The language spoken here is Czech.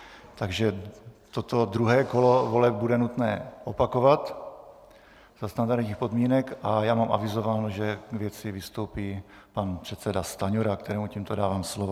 Takže toto druhé kolo voleb bude nutné opakovat za standardních podmínek a já mám avizováno, že k věci vystoupí pan předseda Stanjura, kterému tímto dávám slovo.